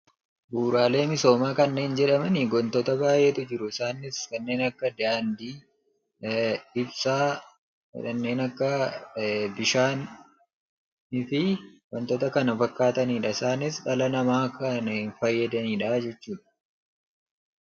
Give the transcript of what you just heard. Bu'uuraalee misoomaa kanneen jedhamani wantoota baay'eetu jiru. Isaanis kanneen akka daandii, ibsaa, kanneen akka bishaanii fi wantoota kana fakkaatanidha. Isaanis dhala namaaf kan fayyadanidha jechuudha.